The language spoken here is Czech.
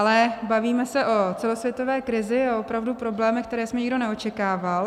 Ale bavíme se o celosvětové krizi a opravdu problémech, které jsme nikdo neočekával.